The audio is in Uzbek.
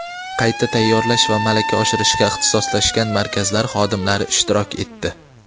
qayta tayyorlash va malaka oshirishga ixtisoslashgan markazlar xodimlari ishtirok etdi.